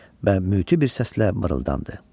və müti bir səslə mırıldandı.